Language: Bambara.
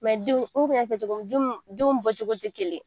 denw n y'a cogo m ju m denw bɔ cogo te kelen.